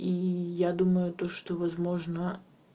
и я думаю то что возможно